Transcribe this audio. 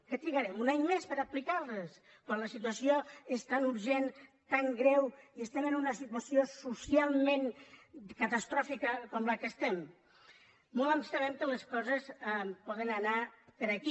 que trigarem un any més per aplicar les quan la situació és tan urgent tan greu i estem en una situació socialment catastròfica com aquesta en què estem molt ens temem que les coses poden anar per aquí